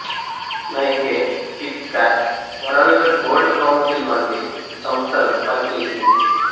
Nike Kit Kat World Gold Council వంటి సంస్థలకు పనిచేసింది